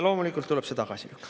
Loomulikult tuleb see tagasi lükata.